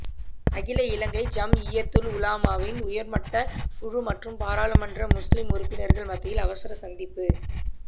அகில இலங்கை ஜம்இய்யத்துல் உலமாவின் உயர்மட்டக் குழு மற்றும் பாராளுமன்ற முஸ்லிம் உறுப்பினர்கள் மத்தியில் அவசர சந்திப்பு